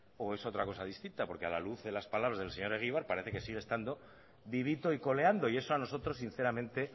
o es otra cosa distinta porque a la luz de las palabras del señor egibar parece que sigue estando vivito y coleando y eso a nosotros sinceramente